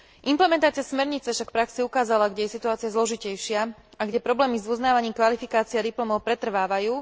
Implementácia smernice však v praxi ukázala, kde je situácia zložitejšia a kde problémy s uznávaním kvalifikácie a diplomov pretrvávajú.